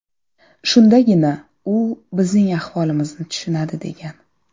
Shundagina u bizning ahvolimizni tushunadi”, degan.